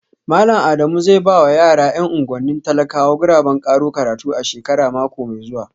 Malam Adamu zai ba wa yara ‘yan unguwannin talakawa guraben karo karatu a shekara mai zuwa